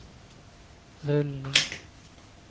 rullning